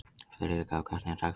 Friðrikka, hvernig er dagskráin?